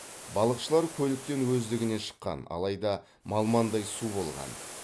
балықшылар көліктен өздігінен шыққан алайда малмандай су болған